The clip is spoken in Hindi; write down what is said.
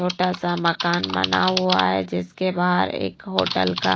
छोटा सा मकान बना हुआ है जिसके बाहर एक होटल का--